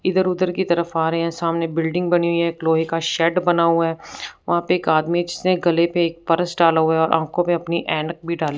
इधर उधर की तरफ आ रहे हैं सामने बिल्डिंग बनी हुई है लोहे का शेड बना हुआ है वहां पे एक आदमी जिसने गले पे एक परस डाला हुआ है और अपनी आंखों पे ऐनक भी डाली--